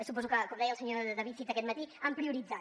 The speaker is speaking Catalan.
suposo que com deia el senyor david cid aquest matí han prioritzat